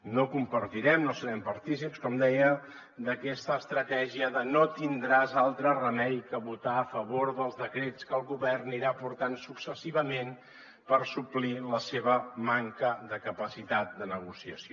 no compartirem no serem partícips com deia d’aquesta estratègia de no tindràs altre remei que votar a favor dels decrets que el govern anirà aportant successivament per suplir la seva manca de capacitat de negociació